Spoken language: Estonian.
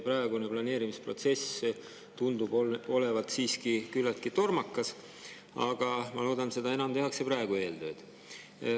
Praegune planeerimisprotsess tundub olevat siiski küllaltki tormakas, aga ma loodan, et seda enam tehakse praegu eeltööd.